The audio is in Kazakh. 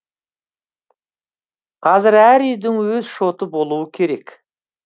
қазір әр үйдің өз шоты болуы керек